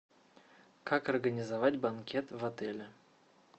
как организовать банкет в отеле